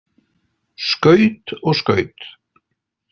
Skaut og skaut.